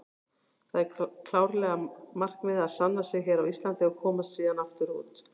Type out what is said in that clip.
Það er klárlega markmiðið að sanna sig hér á Íslandi og komast síðan aftur út.